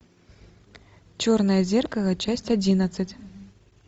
черное зеркало часть одиннадцать